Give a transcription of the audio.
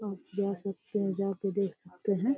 आप जा सकते हैं। जाके देख सकते हैं।